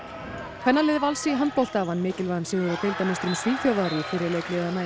kvennalið Vals í handbolta vann mikilvægan sigur á Svíþjóðar í fyrri leik liðanna í